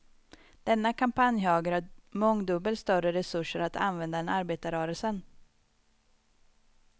Denna kampanjhöger har mångdubbelt större resurser att använda än arbetarrörelsen.